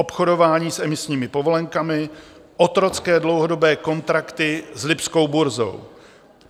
Obchodování s emisními povolenkami, otrocké dlouhodobé kontrakty s lipskou burzou.